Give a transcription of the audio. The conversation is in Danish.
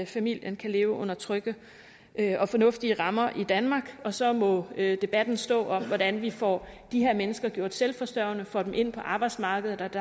familien kan leve under trygge og fornuftige rammer i danmark og så må debatten stå om hvordan vi får de her mennesker gjort selvforsørgende og får dem ind på arbejdsmarkedet